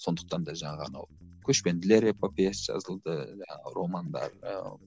сондықтан да жаңағы анау көшпенділер эпопеясы жазылды жаңағы романдар ыыы